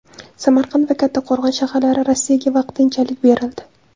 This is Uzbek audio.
Samarqand va Kattqo‘rg‘on shaharlari Rossiyaga vaqtinchalik berildi.